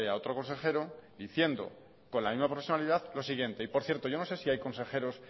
otro consejero diciendo con la misma profesionalidad lo siguiente por cierto yo no sé si hay consejeros